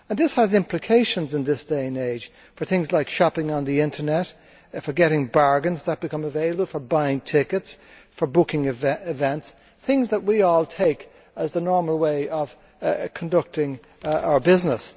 This has implications in this day and age for things like shopping on the Internet, for taking advantage of bargains that become available, for buying tickets, for booking events things that we all take as the normal way of conducting our business.